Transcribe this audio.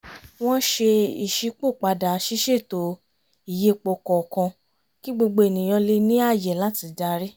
wọ́n ṣe ìṣípòpadà ṣíṣètò ìyípo kọ̀ọ̀kan kí gbogbo ènìyàn lè ní ààyè láti darí